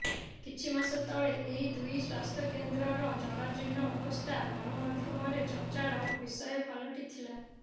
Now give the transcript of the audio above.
କିଛି ମାସ ତଲେ ଏହି ଦୁଇ ସ୍ୱାସ୍ଥ୍ୟକେନ୍ଦ୍ରର ଜରାଜୀର୍ଣ୍ଣ ଅବସ୍ଥା ଗଣମାଧ୍ୟମରେ ଚର୍ଚ୍ଚାର ବିଷୟ ପାଲଟିଥିଲା